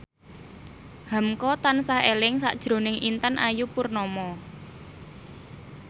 hamka tansah eling sakjroning Intan Ayu Purnama